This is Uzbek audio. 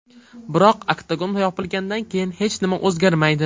Biroq oktagon yopilgandan keyin hech nima o‘zgarmaydi.